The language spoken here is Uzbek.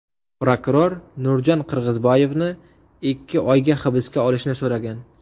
Prokuror Nurjan Qirg‘izboyevni ikki oyga hibsga olishni so‘ragan.